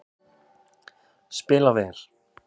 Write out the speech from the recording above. Spila vel